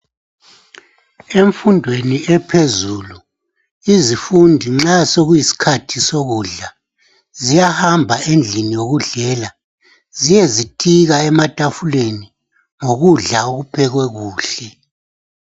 Emfundweni ephezulu izifundi nxa sokuyisikhathi sokufunda ziyahamba endlini yokudlela ziyezitika ematafuleni ngokudla okuphekwe kuhle